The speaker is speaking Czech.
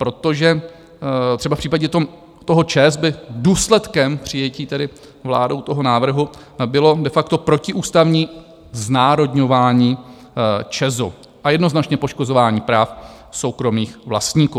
Protože třeba v případě toho ČEZu by důsledkem přijetí tedy vládou toho návrhu bylo de facto protiústavní znárodňování ČEZu a jednoznačně poškozování práv soukromých vlastníků.